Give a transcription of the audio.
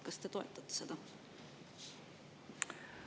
Kas te toetate seda?